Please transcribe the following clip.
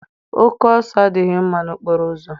Oke ọsọ adịghị mma n'okporoụzọ